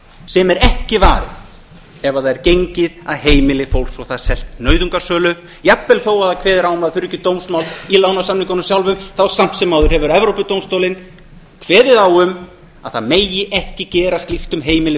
sem er ekki varið ef það er gengið að heimili fólks og það selt nauðungarsölu jafnvel þó að kveðið sé á um að það þurfi ekki dómsmál í lánasamningunum sjálfum þá samt sem áður hefur evrópudómstóllinn kveðið á um að það megi ekki gera slíkt um heimili